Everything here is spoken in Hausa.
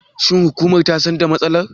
Shin hukumar ta san da matsalar?